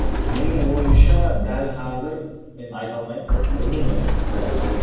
менің ойымша дәл қазір мен айта алмаймын білмеймін енді қайсы топ